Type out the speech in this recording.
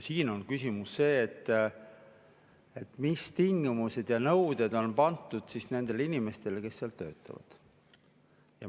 Siin on küsimus selles, mis tingimused ja mis nõuded on pandud nendele inimestele, kes seal töötavad.